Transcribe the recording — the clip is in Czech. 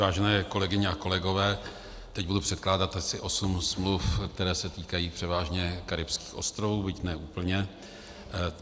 Vážené kolegyně a kolegové, teď budu předkládat asi osm smluv, které se týkají převážně karibských ostrovů, byť ne úplně.